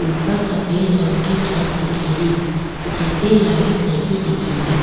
ऊपर सफ़ेद रंग की छत दिखेरी जेपी लाइट लगी दिखेरी।